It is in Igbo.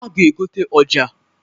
A ga-egota ọja.